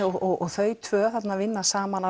og þau tvö vinna saman